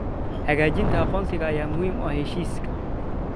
Xaqiijinta aqoonsiga ayaa muhiim u ah heshiiska.